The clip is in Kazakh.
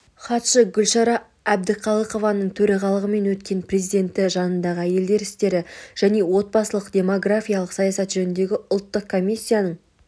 хатшы гүлшара әбдіқалықованың төрағалығымен өткен президенті жанындағы әйелдер істері және отбасылық-демографиялық саясат жөніндегі ұлттық комиссияның